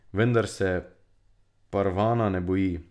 Vendar se Parvana ne boji.